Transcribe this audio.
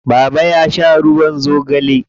Baba ya sha ruwan zogale.